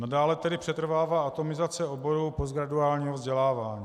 Nadále tedy přetrvává atomizace oboru postgraduálního vzdělávání.